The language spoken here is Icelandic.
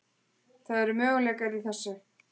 Það eru möguleikar í þessu.